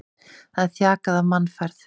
Það er þjakað af mannfæð.